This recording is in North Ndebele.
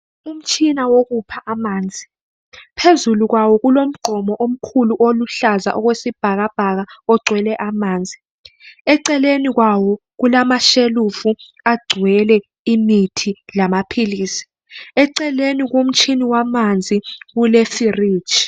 Umtshina wokukha amanzi, phezu kwawo kulomgqomo omkhulu olombala oluhlaza okwesibhakabhaka ogcwele amanzi. Eceleni kwawo kulamashelufu agcwele amaphilisi. Eceleni komtshini wamanzi kulefiriji.